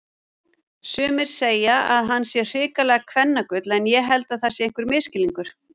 Sumir segja að hann sé hrikalegt kvennagull en ég held það sé einhver misskilningur.